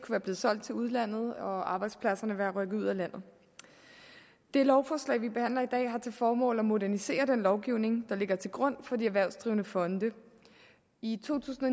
være blevet solgt til udlandet og arbejdspladser der kunne være rykket ud af landet det lovforslag vi behandler i dag har til formål at modernisere den lovgivning der ligger til grund for de erhvervsdrivende fonde i to tusind